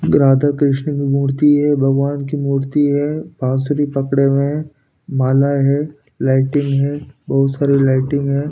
राधा कृष्ण की मूर्ति है भगवान की मूर्ति है बांसुरी पकड़े हुए हैं माला है लाइटिंग है बहुत सारी लाइटिंग है।